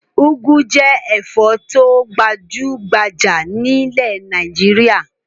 Úgú jẹ́ ẹ̀fọ́ tó gbajú-gbajà nílẹ̀ Nàìjíríà.